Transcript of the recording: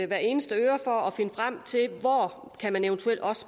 hver eneste øre for at finde frem til hvor man eventuelt også